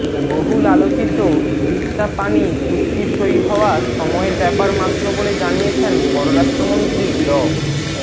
বহুল আলোচিত তিস্তা পানি চুক্তি সই হওয়া সময়ের ব্যাপার মাত্র বলে জানিয়েছেন পররাষ্ট্রমন্ত্রী ড